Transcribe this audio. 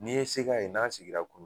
N'i ye se k'a ye n'a sigira kulu